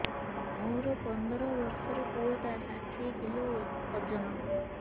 ମୋର ପନ୍ଦର ଵର୍ଷର ପୁଅ ଟା ଷାଠିଏ କିଲୋ ଅଜନ